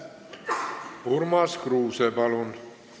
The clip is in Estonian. Urmas Kruuse, palun!